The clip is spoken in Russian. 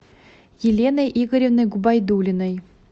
еленой игоревной губайдуллиной